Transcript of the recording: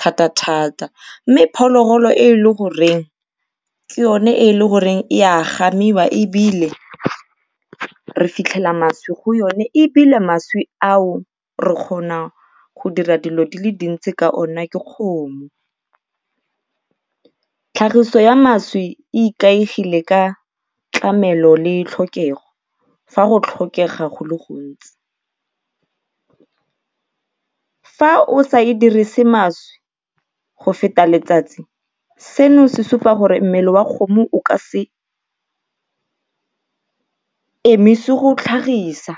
thatathata mme phologolo e e le goreng ke yone e e le goreng e a gamiwa ebile re fitlhela mašwi go yona ebile mašwi ao re kgona go dira dilo di le dintsi ka ona ke kgomo. Tlhagiso ya mašwi e ikaegile ka tlamelo le tlhokego fa go tlhokega go le gontsi. Fa o sa e dirise mašwi go feta letsatsi, seno se supa gore mmele wa kgomo o ka emise go tlhagisa.